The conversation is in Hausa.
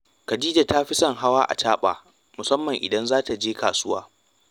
Khadija ta fi son hawa acaɓa, musamman idan za ta je kasuwa